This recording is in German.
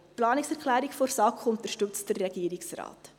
Die Planungserklärung der SAK unterstützt der Regierungsrat.